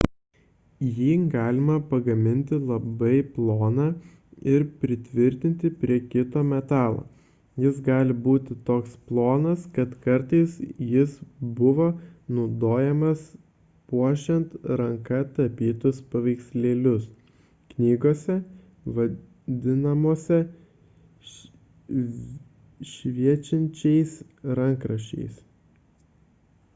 jį galima pagaminti labai ploną ir pritvirtinti prie kito metalo jis gali būti toks plonas kad kartais jis buvo naudojamas puošiant ranka tapytus paveikslėlius knygose vadinamose šviečiančiaisiais rankraščiais